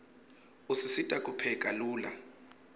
usisita kupheka lula